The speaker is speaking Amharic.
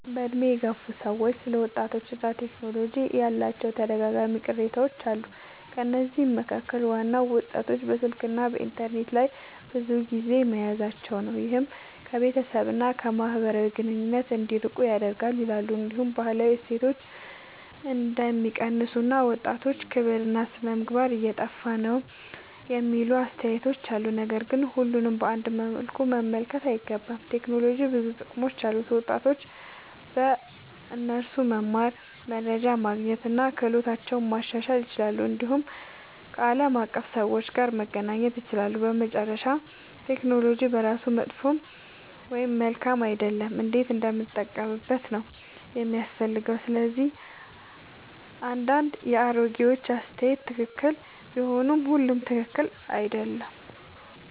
በዕድሜ የገፉ ሰዎች ስለ ወጣቶችና ቴክኖሎጂ ያላቸው ተደጋጋሚ ቅሬታዎች አሉ። ከነዚህ መካከል ዋናው ወጣቶች በስልክና በኢንተርኔት ላይ ብዙ ጊዜ መያዛቸው ነው፤ ይህም ከቤተሰብ እና ከማህበራዊ ግንኙነት እንዲርቁ ያደርጋል ይላሉ። እንዲሁም ባህላዊ እሴቶች እንደሚቀንሱ እና ወጣቶች ክብርና ሥነ-ምግባር እየጠፋ ነው የሚሉ አስተያየቶች አሉ። ነገር ግን ሁሉንም በአንድ መልኩ መመልከት አይገባም። ቴክኖሎጂ ብዙ ጥቅሞች አሉት፤ ወጣቶች በእርሱ መማር፣ መረጃ ማግኘት እና ክህሎታቸውን ማሻሻል ይችላሉ። እንዲሁም ከዓለም አቀፍ ሰዎች ጋር መገናኘት ይችላሉ። በመጨረሻ ቴክኖሎጂ በራሱ መጥፎ ወይም መልካም አይደለም፤ እንዴት እንደምንጠቀምበት ነው የሚያስፈልገው። ስለዚህ አንዳንድ የአሮጌዎች አስተያየት ትክክል ቢሆንም ሁሉም ትክክል አይደለም።